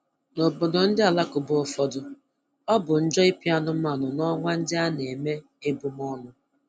N'obodo ndị alakụba ụfọdụ, ọ bụ njọ ịpị anụmanụ n'ọnwa ndị a na-eme ebumọnụ